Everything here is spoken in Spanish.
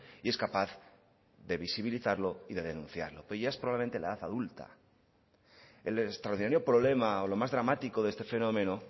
y es capaz de visibilizarlo y de denunciarlo pero ya es probablemente la edad adulta el extraordinario problema o lo más dramático de este fenómeno